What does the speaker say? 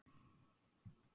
Hvað gerðist á páskadag?